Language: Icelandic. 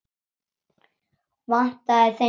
Vantaði þeim vinnu?